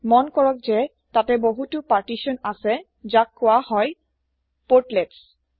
মন কৰক যে তাতে বহুতো পাৰ্টিছন আছে যাক কোৱা হয় পোৰ্টলেটছ